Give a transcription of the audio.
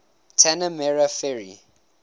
tanah merah ferry